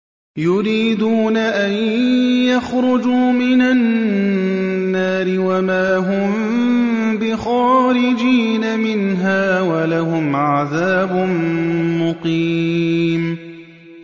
يُرِيدُونَ أَن يَخْرُجُوا مِنَ النَّارِ وَمَا هُم بِخَارِجِينَ مِنْهَا ۖ وَلَهُمْ عَذَابٌ مُّقِيمٌ